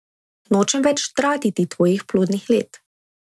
Nočem več tratiti tvojih plodnih let.